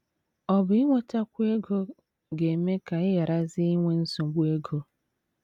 Ọ̀ bụ inwetakwu ego ga - eme ka ị gharazie inwe nsogbu ego?